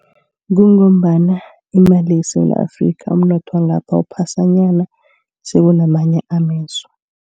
Kungombana imali yeSewula Afrika, umnotho wangapha uphasanyana kunamanye amezwe.